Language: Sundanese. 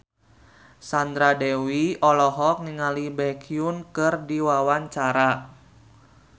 Sandra Dewi olohok ningali Baekhyun keur diwawancara